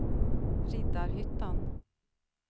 Riddarhyttan